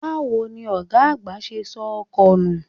Báwo ni ọ̀gá àgbà ṣe sọ ọkọ nù?